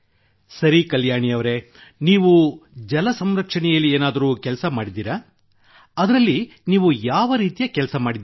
ಸರಿ ಕಲ್ಯಾಣಿ ಅವರೆ ನೀವೂ ಜಲ ಸಂರಕ್ಷಣೆಯಲ್ಲಿ ಏನಾದರೂ ಕೆಲಸ ಮಾಡಿದ್ದೀರಾ ಅದರಲ್ಲಿ ನೀವು ಯಾವ ರೀತಿ ಕೆಲಸ ಮಾಡಿದ್ದೀರಿ